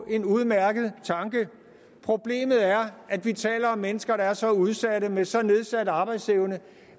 en udmærket tanke problemet er at vi taler om mennesker der er så udsatte og med så nedsat arbejdsevne